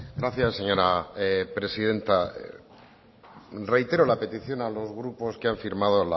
gracias señora presidenta reitero la petición a los grupos que han firmado